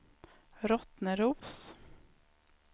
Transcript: Rottneros